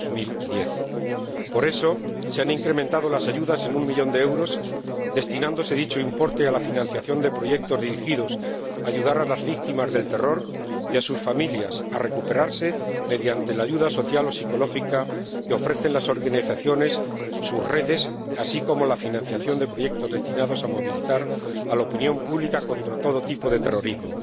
2010. Por eso, se han incrementado las ayudas en un millón de euros, importe que se destinará a la financiación de proyectos dirigidos a ayudar a las víctimas del terror y a sus familias a recuperarse, mediante la ayuda social o psicológica que ofrecen las organizaciones, sus redes, así como la financiación de proyectos destinados a movilizar a la opinión pública contra todo tipo de terrorismo.